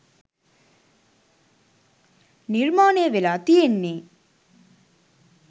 නිර්මාණය වෙලා තියෙන්නේ